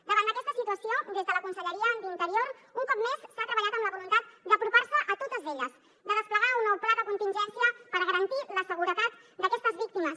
davant d’aquesta situació des de la conselleria d’interior un cop més s’ha treballat amb la voluntat d’apropar se a totes elles de desplegar un nou pla de contingència per garantir la seguretat d’aquestes víctimes